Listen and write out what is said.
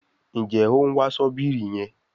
Njé òún wá Ṣọ́bìrì yén?